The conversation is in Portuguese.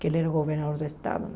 Que ele era governador do estado.